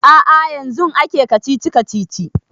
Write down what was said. A'a yanzun ake kacici-kacici